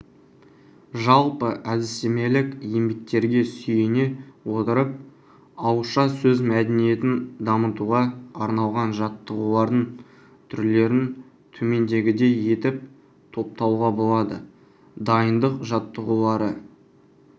жалпы әдістемелік еңбектерге сүйене отырып ауызша сөз мәдениетін дамытуға арналған жаттығулардың түрлерін төмендегідей етіп топтауға болады дайындық жаттығулары